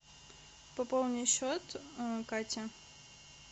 пополни счет кати